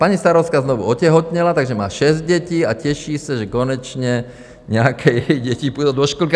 Paní starostka znovu otěhotněla, takže má šest dětí, a těší se, že konečně nějaké její děti půjdou do školky.